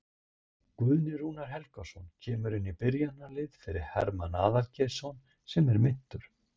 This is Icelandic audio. Guðni Rúnar Helgason kemur inn í byrjunarliðið fyrir Hermann Aðalgeirsson sem er meiddur.